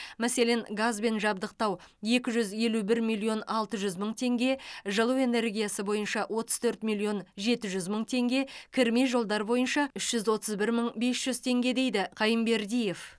мәселен газбен жабдықтау екі жүз елу бір миллион алты жүз мың теңге жылу энергиясы бойынша отыз төрт миллион жеті жүз мың теңге кірме жолдар бойынша үш жүз отыз бір мың бес жүз теңге дейді қайынбердиев